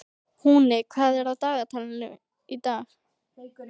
Húni, hvað er á dagatalinu í dag?